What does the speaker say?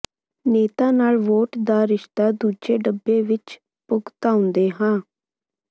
ਨੇਤਾ ਨਾਲ ਵੋਟ ਦਾ ਰਿਸ਼ਤਾ ਦੂਜੇ ਡੱਬੇ ਵਿੱਚ ਭੁਗਤਾਉਂਦੇ ਹਾਂ